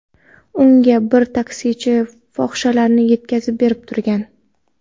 Unga bir taksichi fohishalarni yetkazib berib turgan.